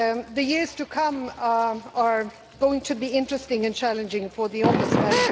The years to come are going to be interesting and challenging for the Ombudsman.